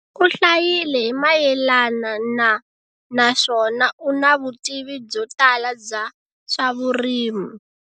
U hlayile hi mayelana na naswona u na vutivi byo tala bya swa vurimi.